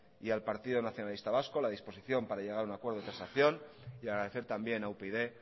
y al partido nacionalista vasco la disposición para llegar a un acuerdo de transacción y agradecer también a upyd